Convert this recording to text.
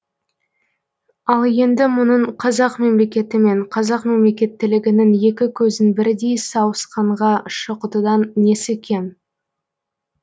ал енді мұның қазақ мемлекеті мен қазақ мемлекеттілігінің екі көзін бірдей сауысқанға шұқытудан несі кем